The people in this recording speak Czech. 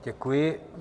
Děkuji.